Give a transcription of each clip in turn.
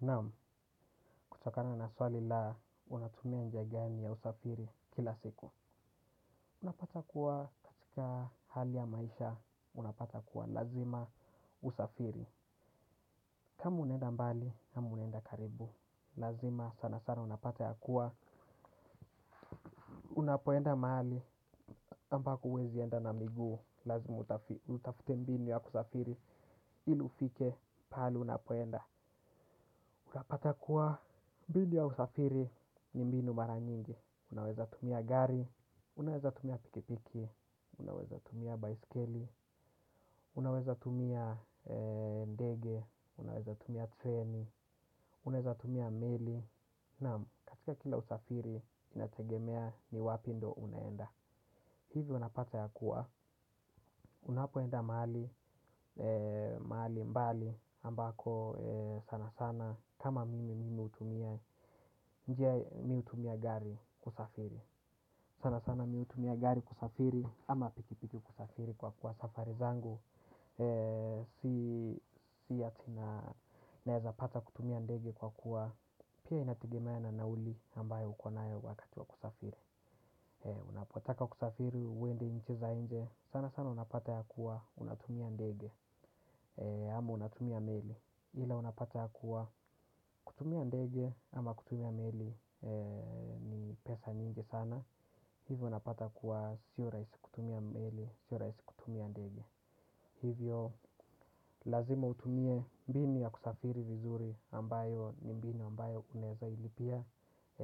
Naam kutokana na swali la unatumia njia gani ya usafiri kila siku. Unapata kuwa katika hali ya maisha unapata kuwa lazima usafiri. Kama unaenda mbali ama unaenda karibu. Lazima sana sana unapata ya kuwa unapoenda mahali ambako huwezi enda na miguu. Lazimu utafute mbinu ya kusafiri ili ufike pahali unapoenda. Unapata kuwa mbinnu ya usafiri ni mbinu mara nyingi. Unaweza tumia gari, unaweza tumia pikipiki, unaweza tumia baiskeli, unaweza tumia ndege, unaweza tumia treni, unaweza tumia meli, naam katika kila usafiri inategemea ni wapi ndo unaenda. Hivyo unapata ya kuwa, unapoenda mahali mbali ambako sana sana kama mimi mimi hutumia njia mi hutumia gari kusafiri. Sana sana mi hutumia gari kusafiri ama pikipiki kusafiri kwa kuwa safari zangu. Si ati na naezapata kutumia ndege kwa kuwa pia inategemea na nauli ambayo uko nayo wakati wa kusafiri. Unapotaka kusafiri uende nchi za nje sana sana unapata ya kuwa unatumia ndege. Ama unatumia meli ila unapata ya kuwa kutumia ndege ama kutumia meli ni pesa nyingi sana. Hivyo unapata kuwa sio rahisi kutumia meli, sio rahisi kutumia ndege. Hivyo lazima utumie mbinu ya kusafiri vizuri ambayo ni mbinu ambayo unaeza ilipia.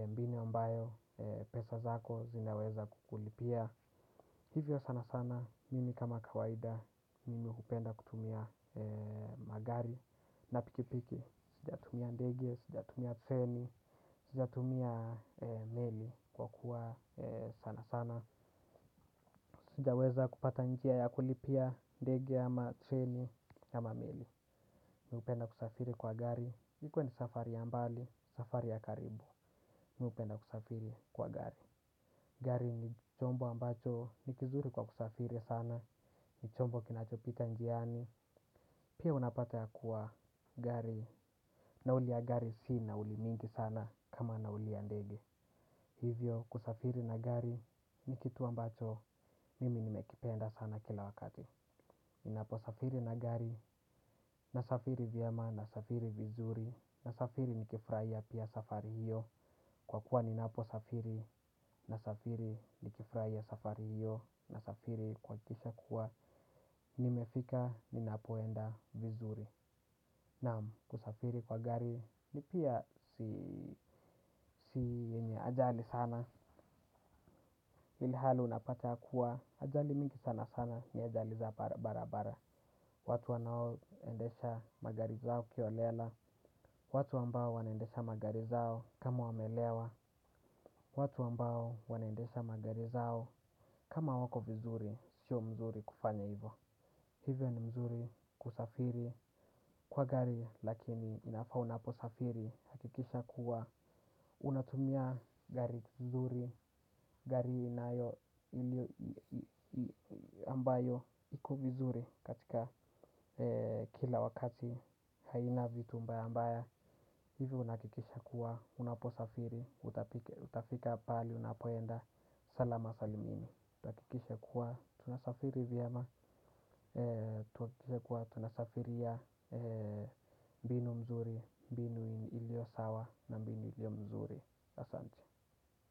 Mbinu ambayo pesa zako zinaweza kukulipia. Hivyo sana sana, mimi kama kawaida, mimi hupenda kutumia magari na pikipiki, sijatumia ndegi, sijatumia treni, sijatumia meli kwa kuwa sana sana, sijaweza kupata njia ya kulipia ndege ama treni ama meli. Mi hupenda kusafiri kwa gari, ikuwe ni safari ya mbali, safari ya karibu, mi hupenda kusafiri kwa gari. Gari ni chombo ambacho ni kizuri kwa kusafiri sana ni chombo kinachopita njiani. Pia unapata ya kuwa gari nauli ya gari si nauli mingi sana kama nauli ya ndege. Hivyo kusafiri na gari ni kitu ambacho mimi nimekipenda sana kila wakati. Ninapo safiri na gari nasafiri vyema nasafiri vizuri nasafiri nikifurahia pia safari hiyo. Kwa kuwa ninapo safiri nasafiri nikifurahia safari hiyo nasafiri kuhakikisha kuwa nimefika ninapoenda vizuri. Naam kusafiri kwa gari ni pia si ajali sana ilihali unapata kuwa ajali mingi sana sana ni ajali za barabara. Watu wanao endesha magari zao kiholela. Watu ambao wanaendesha magari zao kama wamelewa. Watu ambao wanaendesha magari zao, kama wako vizuri, sio mzuri kufanya hivyo. Hivyo ni mzuri kusafiri kwa gari lakini inafaa unaposafiri hakikisha kuwa. Unatumia gari vizuri, gari inayo ambayo iko vizuri katika kila wakati haina vitu mbaya mbaya. Hivyo unahakikisha kuwa, unaposafiri, utafika pahali, unapoenda, salama salimini. Utahakikisha kuwa, tunasafiri vyema, tuhakikishe kuwa tunasafiria mbinu mzuri, mbinu iliyo sawa na mbinu iliyo mzuri. Asante.